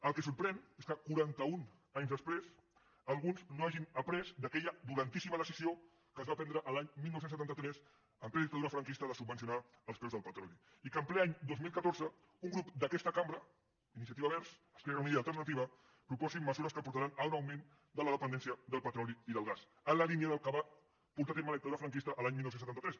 el que sorprèn és que quaranta un anys després alguns no hagin après d’aquella dolentíssima decisió que es va prendre l’any dinou setanta tres en plena dictadura franquista de subvencionar els preus del petroli i que en ple any dos mil catorze un grup d’aquesta cambra iniciativa verds esquerra unida i alternativa proposi mesures que portaran a un augment de la dependència del petroli i del gas en la línia del que va portar a terme la dictadura franquista l’any dinou setanta tres